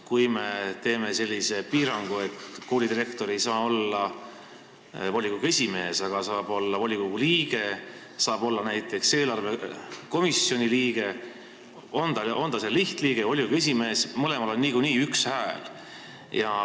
Kui me teeme sellise piirangu, et koolidirektor ei saa olla volikogu esimees, aga saab olla volikogu liige ja saab olla näiteks eelarvekomisjoni liige, siis on ta lihtliige või volikogu esimees, mõlemal on niikuinii üks hääl.